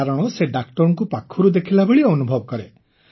କାରଣ ସେ ଡାକ୍ତରଙ୍କୁ ପାଖରୁ ଦେଖିଲାଭଳି ଅନୁଭବ କରେ